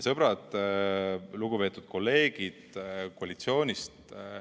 Sõbrad, lugupeetud kolleegid koalitsioonist!